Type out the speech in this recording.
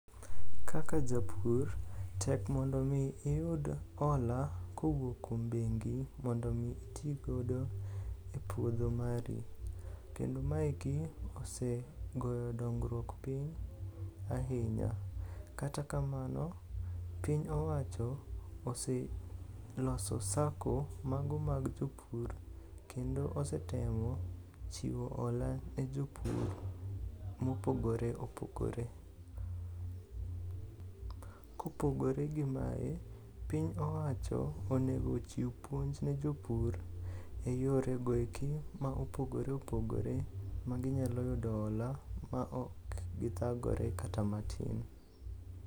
Kaka japur, tek mondo omi iyud hola kowuok kuom bengi mondo omi itigodo e puodho mari, kendo maeki osegoyo dongruok piny ahinya. Kata kamano piny owacho oseloso sako mago mag jopur kendo osetemo chiwo hola ne jopur mopogore opogore. Kopogore gi mae, piny owacho onego chiw puonj ne jopur e yorego eki ma opogore opogore maginyalo yudo hola maok githagore kata matin.